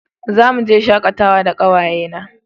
Za mu je shakatawa da kawaye na